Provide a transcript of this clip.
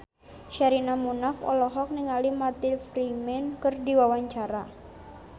Sherina Munaf olohok ningali Martin Freeman keur diwawancara